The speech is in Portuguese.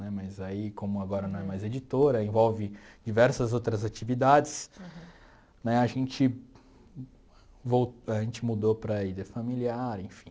Né mas aí, como agora não é mais editora, envolve diversas outras atividades, né, a gente vol a gente mudou para í dê Familiar, enfim.